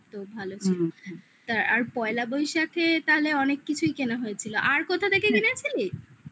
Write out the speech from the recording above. ভালো তা আর পয়লা বৈশাখে তাহলে অনেক কিছুই কেনা হয়েছিল আর কোথা থেকে কেনা ছিলি